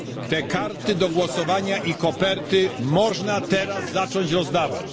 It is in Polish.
Te karty do głosowania i koperty można teraz zacząć rozdawać.